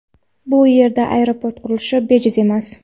Bu yerda aeroport qurilishi bejiz emas.